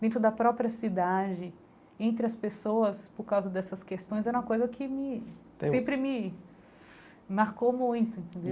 dentro da própria cidade, entre as pessoas por causa dessas questões, era uma coisa que me sempre me marcou muito, entendeu?